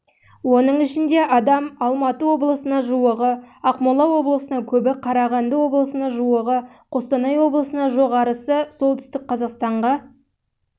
оның ішінде адам алматы облысына жуығы ақмола облысына көбі қарағанды облысына жуығы қостанай облысына жоғарысы солтүстік қазақстанға